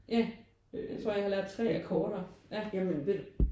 Ja jeg tror jeg har lært 3 akkorder ja